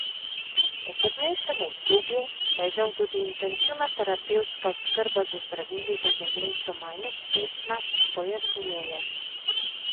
V poznejšem obdobju pa je žal tudi intenzivna terapevtska oskrba z zdravili za demenco manj uspešna, pojasnjuje.